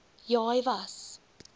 ja hy was